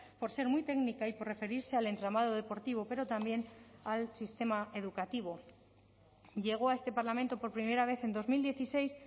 por ser muy técnica y por referirse al entramado deportivo pero también al sistema educativo llegó a este parlamento por primera vez en dos mil dieciséis